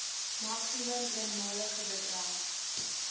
maksimum eenmalige bedrag